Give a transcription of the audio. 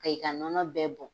A y'i ka nɔnɔ bɛɛ bɔn.